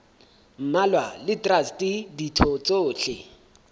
mmalwa le traste ditho tsohle